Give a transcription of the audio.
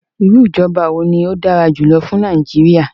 Iru ijọba wo ni o dara julọ fun Naijiria?